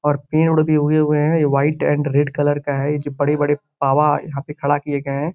और पेड़ उड़ भी उगे हुए हैं। ये व्हाइट एंड रेड कलर का है। ये जो बड़े-बड़े पावा यहाँ पे खड़े किये गये हैं।